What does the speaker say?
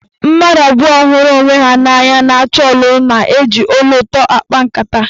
Mmadụ abụọ hụrụ onwe ha n'anya na-achọ ọlụlụ na-eji olu ụtọ akpa nkata.